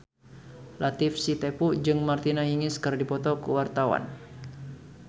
Latief Sitepu jeung Martina Hingis keur dipoto ku wartawan